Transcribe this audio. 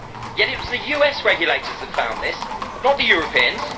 at all. Yet it was the US regulators that found this, not the